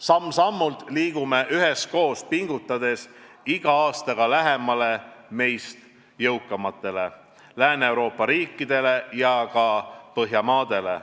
Samm-sammult liigume üheskoos pingutades iga aastaga lähemale meist jõukamatele Lääne-Euroopa riikidele ja ka Põhjamaadele.